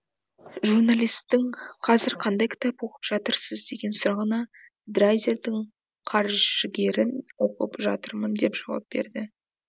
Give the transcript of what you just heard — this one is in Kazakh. журналистің қазір қандай кітап оқып жатырсыз деген сұрағына драйзердің қаржыгерін оқып жатырмын деп жауап берді